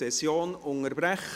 Ich unterbreche die Session.